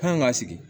An kan ka sigi